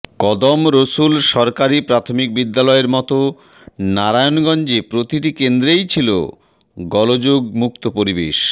কদম রসুল সরকারি প্রাথমিক বিদ্যালয়ের মতো নারায়ণগঞ্জে প্রতিটি কেন্দ্রেই ছিল গোলযোগমুক্ত পরিবেশ